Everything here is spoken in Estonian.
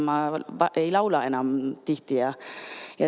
Ma ei laula enam tihti.